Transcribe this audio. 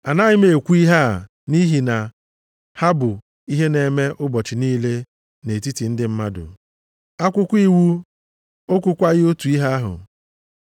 Anaghị m ekwu ihe a nʼihi na ha bụ ihe na-eme ụbọchị niile nʼetiti ndị mmadụ? Akwụkwọ iwu, o kwukwaghị otu ihe ahụ?